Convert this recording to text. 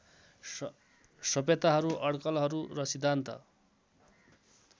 सभ्यताहरू अडकलहरू र सिद्धान्त